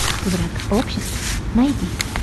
враг общества найди